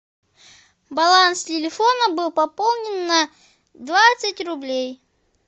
баланс телефона был пополнен на двадцать рублей